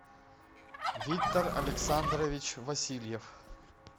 виктор александрович васильев